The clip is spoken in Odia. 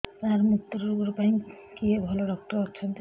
ସାର ମୁତ୍ରରୋଗ ପାଇଁ କିଏ ଭଲ ଡକ୍ଟର ଅଛନ୍ତି